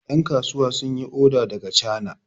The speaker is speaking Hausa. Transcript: yankasuwa sun yi oda daga chana